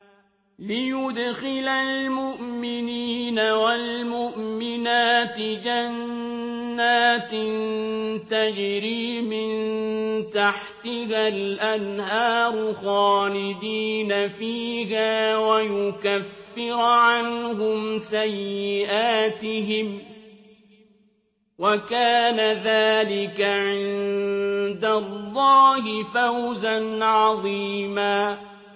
لِّيُدْخِلَ الْمُؤْمِنِينَ وَالْمُؤْمِنَاتِ جَنَّاتٍ تَجْرِي مِن تَحْتِهَا الْأَنْهَارُ خَالِدِينَ فِيهَا وَيُكَفِّرَ عَنْهُمْ سَيِّئَاتِهِمْ ۚ وَكَانَ ذَٰلِكَ عِندَ اللَّهِ فَوْزًا عَظِيمًا